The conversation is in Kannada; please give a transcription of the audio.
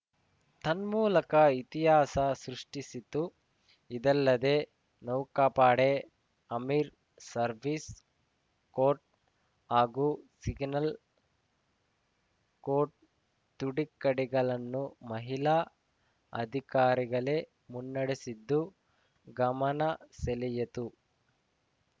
ತನ್ಮೂಲಕ ಇತಿಹಾಸ ಸೃಷ್ಟಿಸಿತು ಇದಲ್ಲದೆ ನೌಕಾಪಡೆ ಆರ್ಮಿ ಸರ್ವಿಸ್‌ ಕೋರ್‌ ಹಾಗೂ ಸಿಗ್ನಲ್‌ ಕೋರ್‌ ತುಡುಕ್ಕಡಿಗಳನ್ನು ಮಹಿಳಾ ಅಧಿಕಾರಿಗಳೇ ಮುನ್ನಡೆಸಿದ್ದು ಗಮನಸೆಳೆಯಿತು